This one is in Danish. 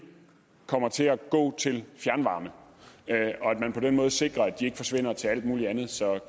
kommer til at gå til fjernvarme og at man på den måde sikrer at de ikke forsvinder til alt muligt andet